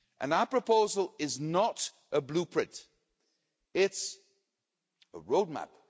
Our proposal is not a blueprint, it's a roadmap.